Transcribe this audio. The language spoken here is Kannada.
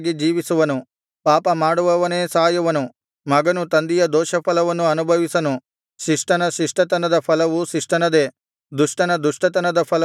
ಪಾಪ ಮಾಡುವವನೇ ಸಾಯುವನು ಮಗನು ತಂದೆಯ ದೋಷಫಲವನ್ನು ಅನುಭವಿಸನು ಶಿಷ್ಟನ ಶಿಷ್ಟತನದ ಫಲವು ಶಿಷ್ಟನದೇ ದುಷ್ಟನ ದುಷ್ಟತನದ ಫಲವು ದುಷ್ಟನದೇ